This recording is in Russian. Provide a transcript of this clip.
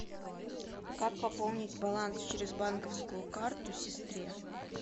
как пополнить баланс через банковскую карту сестре